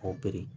O biri